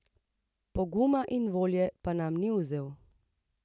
Poguma in volje pa nam ni vzel.